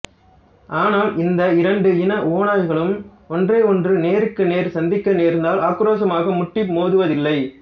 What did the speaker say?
ஆனால் இந்த இரண்டு இன ஓநாய்களும் ஒன்றையொன்று நேருக்கு நேர் சந்திக்க நேர்ந்தால் ஆக்ரோஷமாக முட்டி மோதுவதில்லை